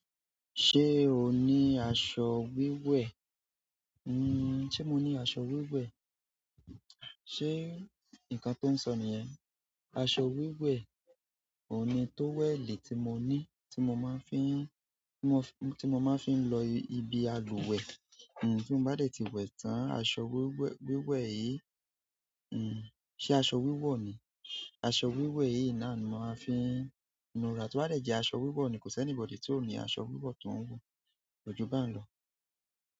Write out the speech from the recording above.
Ṣé o ní aṣọ wíwẹ̀? Se mo ni aṣọ wiwe. Ṣé nǹkan tó ń sọ nìyẹn? Aṣọ wíwẹ̀, òní tó wẹ̀ lè tí mo ní, tí mo máa ń fííń, tí mo, tí mo máa ń fííń lọ ibi agbuwẹ̀. Tí mo bá dé ti wẹ̀ tán, aṣọ wíwẹ̀, wíwẹ̀ yìí, ṣe aṣọ wíwọ̀ ni? Aṣọ wiwe yìí na ni mo ma n fi nu ara, to ba de je aṣọ wiwo ni ko si anybody ti o ni aṣọ wiwo ko ju bayen lọ́.